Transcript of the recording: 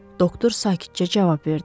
Doktor sakitcə cavab verdi.